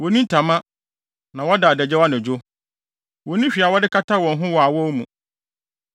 Wonni ntama, na wɔda adagyaw anadwo; wonni hwee a wɔde kata wɔn ho wɔ awɔw mu.